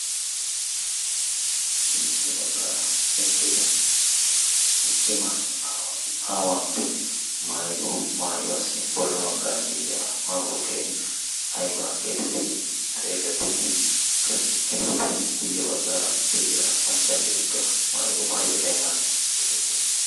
sintta baggaara eqqida cima aawantti maayido maayuwaassi bolla baggaara de7iya maabukkee aiba geetettidi xeegettii? qassi etappe kuyye baggaara de7iya maccaageetikka maayido maayiyo ai mala geetettii?